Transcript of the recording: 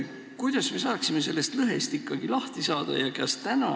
Kuidas me sellest lõhest ikkagi lahti saaksime?